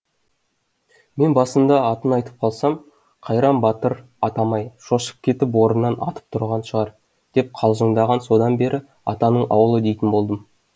мен басында атын айтып қалсам қайран батыр атам ай шошып кетіп орнынан атып тұрған шығар деп қалжыңдаған содан бері атаның ауылы дейтін болдым